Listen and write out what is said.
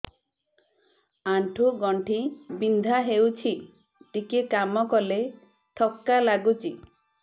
ଆଣ୍ଠୁ ଗଣ୍ଠି ବିନ୍ଧା ହେଉଛି ଟିକେ କାମ କଲେ ଥକ୍କା ଲାଗୁଚି